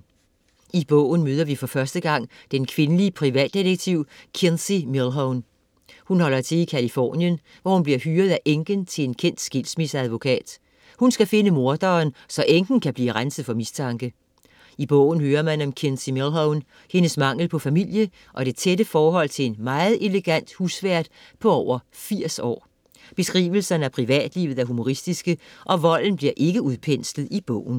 I bogen møder vi for første gang den kvindelige privatdetektiv Kinsey Millhone. Hun holder til i Californien, hvor hun bliver hyret af enken til en kendt skilsmisseadvokat. Hun skal finde morderen, så enken kan blive renset for mistanke. I bogen hører man om Kinsey Millhone, hendes mangel på familie og det tætte forhold til en meget elegant husvært på over 80 år. Beskrivelserne af privatlivet er humoristiske, og volden bliver ikke udpenslet i bogen.